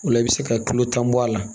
O la i bɛ se ka kilo tan bɔ a la